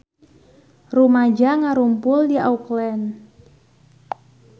Rumaja ngarumpul di Auckland